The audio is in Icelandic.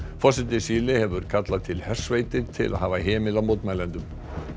forseti Síle hefur kallað til hersveitir til að hafa hemil á mótmælendum